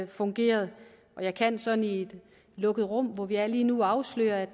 fungeret jeg kan sådan i et lukket rum hvor vi er lige nu afsløre at